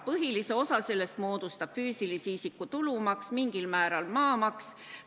Põhilise osa sellest moodustab füüsilise isiku tulumaks, mingil määral maamaks.